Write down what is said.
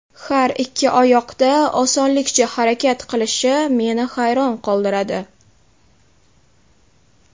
Har ikki oyoqda osonlikcha harakat qilishi meni hayron qoldiradi.